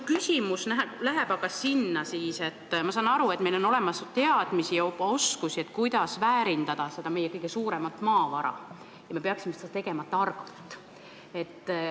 Ma saan aru, et meil on olemas teadmisi ja juba ka oskusi, kuidas seda meie kõige olulisemat maavara väärindada, ja me peaksime seda tegema targalt.